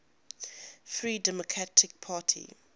free democratic party